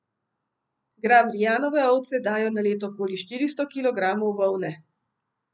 Grabrijanove ovce dajo na leto okoli štiristo kilogramov volne.